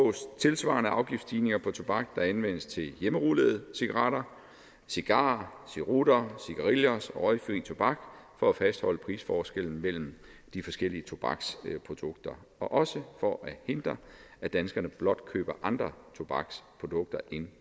tilsvarende afgiftsstigninger på tobak der anvendes til hjemmerullede cigaretter cigarer cerutter cigarillos og røgfri tobak for at fastholde prisforskellen mellem de forskellige tobaksprodukter og også for at hindre at danskerne blot køber andre tobaksprodukter end